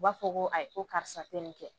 U b'a fɔ ko ayi ko karisa tɛ nin kɛ